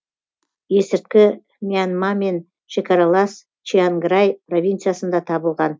есірткі мьянмамен шекаралас чианграй провинциясында табылған